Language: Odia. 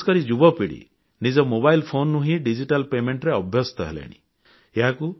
ବିଶେଷକରି ଯୁବପିଢ଼ି ନିଜ ମୋବାଇଲ ଫୋନରୁ ହିଁ ଡିଜିଟାଲ ପାଉଣା ପଇଠ କରିବାରେ ଅଭ୍ୟସ୍ତ ହେଲେଣି